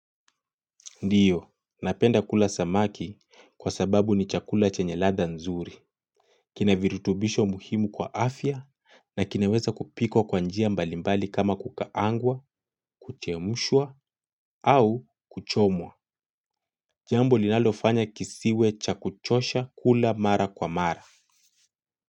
Ndio napenda kula samaki kwa sababu ni chakula chenye ladha nzuri. Kina virutubisho muhimu kwa afya na kinaweza kupikwa kwa njia mbalimbali kama kukaangwa, kuchemshwa au kuchomwa. Jambo linalofanya kisiwe cha kuchosha kula mara kwa mara.